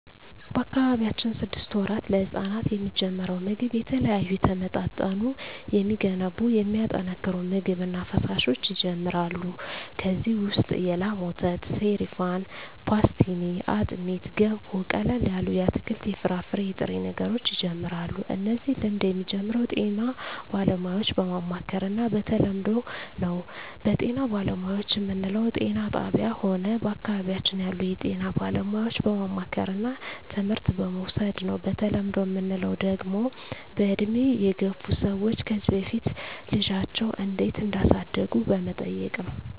በአካባቢያችን ስድስት ወራት ለህጻናት የሚጀምረው ምግብ የተለያዩ የተመጣጠኑ የሚገነቡ የሚያጠናክሩ ምግብ እና ፈሣሾች ይጀመራሉ ከዚ ውሰጥ የላም ወተት ሰሪፋን ፓሥትኒ አጥሜት ገንፎ ቀለል ያሉ የአትክልት የፍራፍሬ የጥሬ ነገሮች ይጀምራሉ እነዚህ ልምድ የሚጀምረው ጤና ባለሙያዎች በማማከር እና በተለምዶው ነው በጤና ባለሙያዎች ምንለው ጤና ጣብያ ሆነ በአካባቢያችን ያሉ የጤና ባለሙያዎች በማማከርና ትምህርት በመዉሰድ ነው በተለምዶ ምንለው ደግሞ በእድሜ የገፍ ሰዎች ከዚ በፊት ልጃቸው እንዴት እዳሳደጉ በመጠየቅ ነው